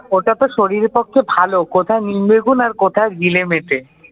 ওটা তো শরীরের পক্ষে ভালো। কোথায় নিম বেগুন আর কোথায় গিলে মেটে